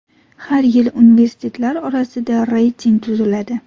Har yili universitetlar orasida reyting tuziladi.